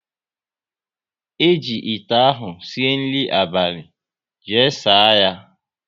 Eji ite ahụ sie nri abalị, jee saa ya!